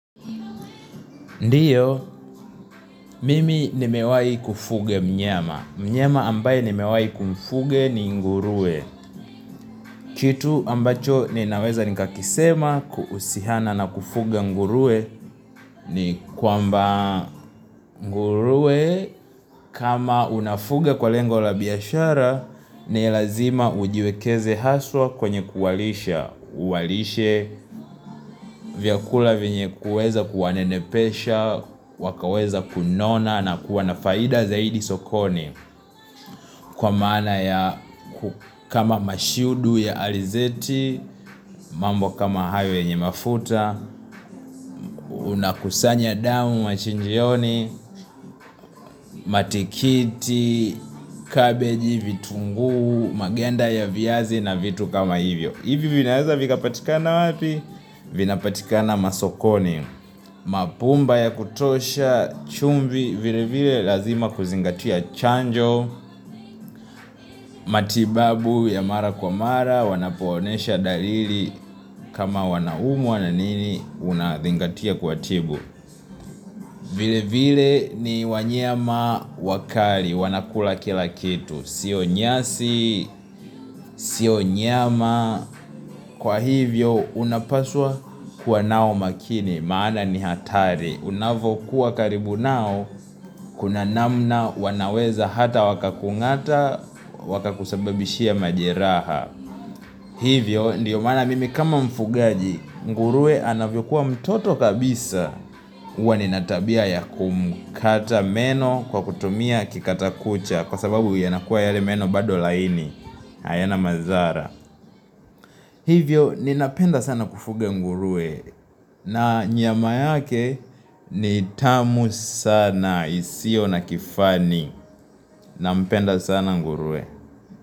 Ndiyo, mimi nimewai kufuga mnyama. Mnyama ambaye nimewai kumfuga ni nguruwe. Kitu ambacho ninaweza nikakisema kuhusiana na kufuga nguruwe ni kwamba nguruwe kama unafuga kwa lengo la biashara, Nilazima ujiwekeze haswa kwenye kuwalisha uwalishe vyakula venye kuweza kuwanenepesha wakaweza kunona na kuwanafaida zaidi sokoni Kwa maana ya kama mashudu ya alizeti mambo kama hayo yenye mafuta una kusanya damu machinjioni Matikiti, kabeji, vitunguu, maganda ya viazi na vitu kama hivyo Ivi vinaeza vika patikana wapi? Vinapatikana masokoni mapumba ya kutosha chumvi vile vile lazima kuzingatia chanjo matibabu ya mara kwa mara wanapo onesha dalili kama wanaumwa na nini unazingatia kuwa tibu vile vile ni wanyama wakali wanakula kila kitu Sio nyasi Sio nyama Kwa hivyo unapaswa kuwa nao makini maana ni hatari unavo kuwa karibu nao Kuna namna wanaweza hata waka kungata waka kusababishia majeraha Hivyo ndiyo maana mimi kama mfugaji nguruwe anavyo kuwa mtoto kabisa huwa nina tabia ya kumkata meno kwa kutumia kikata kucha Kwa sababu yanakuwa yale meno bado laini hayana madhara Hivyo ninapenda sana kufuga nguruwe na nyama yake ni tamu sana isiyo na kifani na mpenda sana nguruwe.